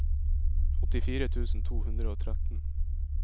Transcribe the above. åttifire tusen to hundre og tretten